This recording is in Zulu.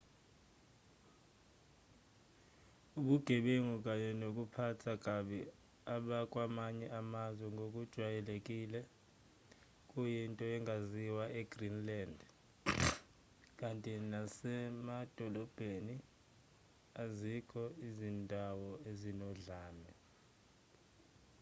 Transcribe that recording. ubugebengu kanye nokuphatha kabi abakwamanye amazwe ngokujwayelekile kuyinto engaziwa e-greenland kanti nasemadolobheni azikho izindawo ezinodlame